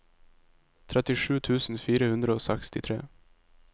trettisju tusen fire hundre og sekstitre